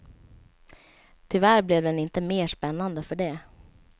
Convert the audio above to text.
Tyvärr blev den inte mer spännande för det.